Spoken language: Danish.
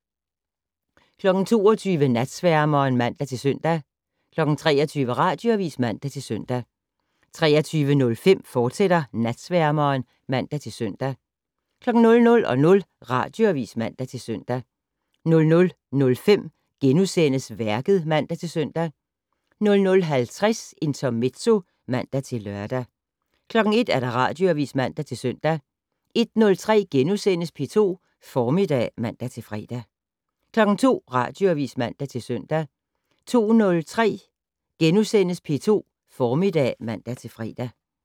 22:00: Natsværmeren (man-søn) 23:00: Radioavis (man-søn) 23:05: Natsværmeren, fortsat (man-søn) 00:00: Radioavis (man-søn) 00:05: Værket *(man-søn) 00:50: Intermezzo (man-lør) 01:00: Radioavis (man-søn) 01:03: P2 Formiddag *(man-fre) 02:00: Radioavis (man-søn) 02:03: P2 Formiddag *(man-fre)